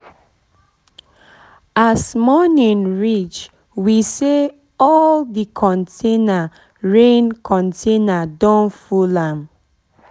as morning reach we see say all di container rain container rain don full am